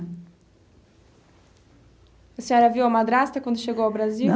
A senhora viu a madrasta quando chegou ao Brasil?